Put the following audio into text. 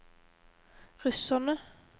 russerne